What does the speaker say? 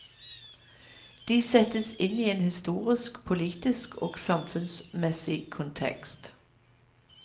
De settes inn i en historisk, politisk og samfunnsmessig kontekst.